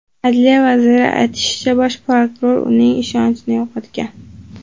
Adliya vaziri aytishicha, bosh prokuror uning ishonchini yo‘qotgan.